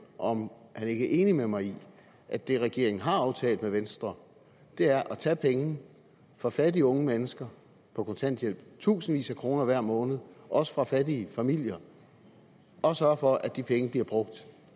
om han ikke er enig med mig i at det regeringen har aftalt med venstre er at tage penge fra fattige unge mennesker på kontanthjælp i tusindvis af kroner hver måned og også fra fattige familier og sørge for at de penge bliver brugt